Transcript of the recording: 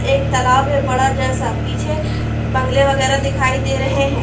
एक तालाब है बड़ा जैसा। पीछे बंगले वगैरा दिखाई दे रहे है।